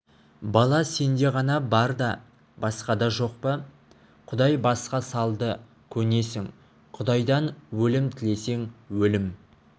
бала сенде ғана бар да басқада жоқ па құдай басқа салды көнесің құдайдан өлім тілесең өлім